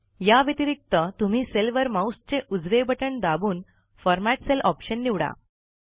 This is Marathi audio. या व्यतिरिक्त तुम्ही सेल वर माऊसचे उजवे बटण दाबून फॉर्मॅट सेल ऑप्शन निवडा